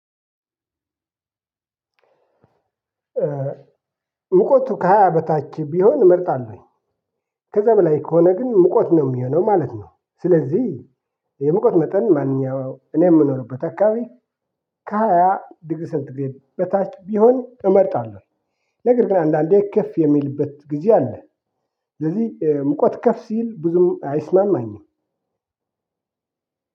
ሙቀቱ ከሃያ በታች ቢሆን እመርጣለሁኝ። ከዛ በላይ ከሆነ ግን ሙቆት ነው የሚሆነው ማለት ነው። ስለዚህ የሙቆት መጠን ማንኛውም እኔ የምኖርበት አካባቢ። ከሃያ ድግሪ ሴንትግሬድ በታች ቢሆን እመርጣለሁ። ነገር ግን አንዳንዴ ከፍ የሚልበት ጊዜ አለ። ስለዚህ ሙቀት ከፍ ሲል ብዙም አይስማማኝም።